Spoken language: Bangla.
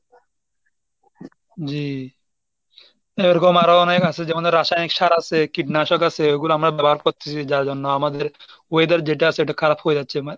জি, এরকম আরো অনেক আছে যেমন রাসায়নিক সার আছে, কীটনাশক আছে ওগুলো আমরা ব্যবহার করতেসি যার জন্য আমাদের weather যেটা আছে সেটা খারাপ হয়ে যাচ্ছে।